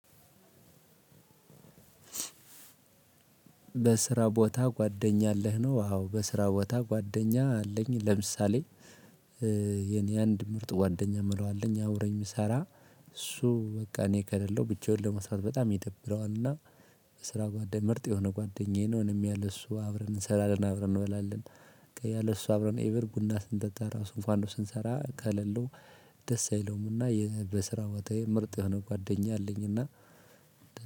በስራ ቦታ ጓደኛ አለህ ነው? አዎ በስራ ቦታ ጓደኛ አለኝ። ለምሳሌ የኔ አንድ ምርጥ ጓደኛ እምለው አለኝ አብሮኝ እሚሰራ እሱ በቃ እኔ ከሌለው ብቻውን ለመስራት በጣም ይደብረዋልና። የስራ ጓደኛ ምርጥ የሆነ ጓደኛዬ ነው እኔም ያለን እሱ አብረን እንሰራለን አብረን እንበላለን። ያለን እሱ አብረን ኤቨር ቡና ስንጠጣ እንኳን ስንሰራ ከሌለው። ደስ አይለውምና። በስራ ቦታዬ ምርጥ የሆነ ጓደኛ አለኝና።